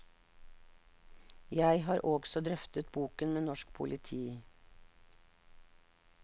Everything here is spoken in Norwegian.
Jeg har også drøftet boken med norsk politi.